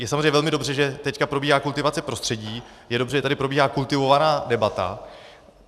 Je samozřejmě velmi dobře, že teď probíhá kultivace prostředí, je dobře, že tady probíhá kultivovaná debata.